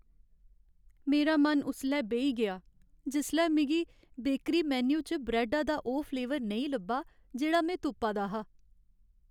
मेरा मन उसलै बेही गेआ जिसलै मिगी बेकरी मेन्यु च ब्रैड्ड दा ओह् फ्लेवर नेईं लब्भा जेह्ड़ा में तुप्पा दा हा।